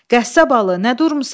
Qəssabalı, nə durmusan?